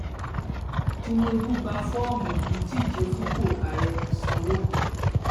tinubu gba fọọmù ìdíje fúnpọ àárẹ sanwó